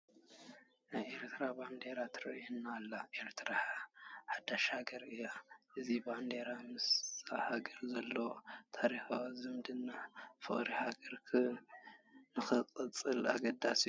ናይ ኤርትራ ባንዴራ ትርአ ኣላ፡፡ ኤርትራ ሓዳሽ ሃገር እያ፡፡ እዚ ባንዴራ ምስዛ ሃገር ዘለዎ ታሪካዊ ዝምድና ፍቕሪ ሃገር ንክቕፅል ኣገዳሲ እዩ፡፡